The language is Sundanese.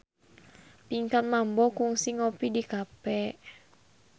Pinkan Mambo kungsi ngopi di cafe